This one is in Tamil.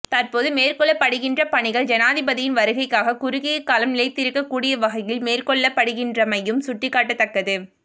தற்போது மேற்கொள்ளப்படுகின்ற பணிகள் ஜனாதிபதியின் வருகைக்காக குறுகிய காலம் நிலைத்திருக்க கூடிய வகையில் மேற்கொள்ளப்படுகின்றைமையும் சுட்டிக்காட்டத்தக்கது